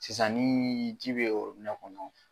Sisan nii ji be kɔnɔ